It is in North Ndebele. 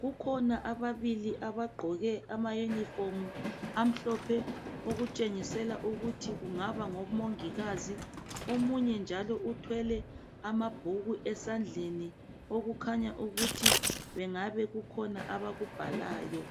kukhona ababili abagqoke ama yunifomu amhlophe okutshengisela ukuthi kungaba ngomongikazi. Omunye njalo uthwele amabhuku esandleni okukhanya ukuthi engabe kukhona abakubhalayo.